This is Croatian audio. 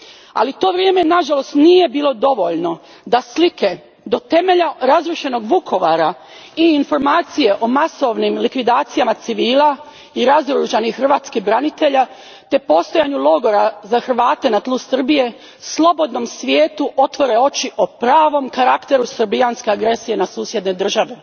Ali to vrijeme, nažalost, nije bilo dovoljno da slike do temelja razrušenog Vukovara i informacije o masovnim likvidacijama civila i razoružanih hrvatskih branitelja te postojanje logora za Hrvate na tlu Srbije slobodnom svijetu otvore oči o pravom karakteru srbijanske agresije na susjedne države.